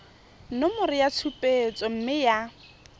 nomoro ya tshupetso mme ya